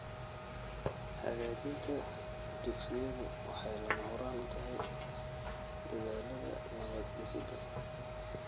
Hagaajinta dugsiyadu waxay lama huraan u tahay dadaallada nabad-dhisidda .